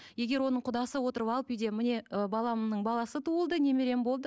егер оның құдасы отырып алып үйде міне ы баламның баласы туылды немерем болды